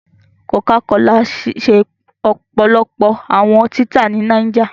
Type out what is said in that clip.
Cocacola ṣe ọpọlọpọ awọn tita ni Niger